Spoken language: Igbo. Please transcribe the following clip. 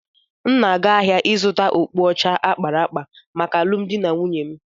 M na-aga ahịa ịzụta okpu ọcha a kpara akpa maka alụmdi na nwunye m.